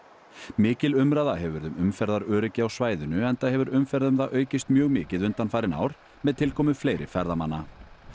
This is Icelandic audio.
mikil umræða hefur verið um umferðaröryggi á svæðinu enda hefur umferð um það aukist mjög mikið undanfarin ár með tilkomu fleiri ferðamanna